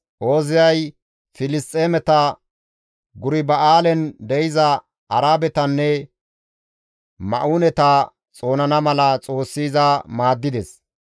Ooziyay Filisxeemeta, Gurba7aalen de7iza Arabetanne Ma7uuneta xoonana mala Xoossi iza maaddides.